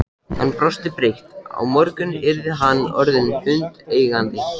Hann brosti breitt: Á morgun yrði hann orðinn hundeigandi!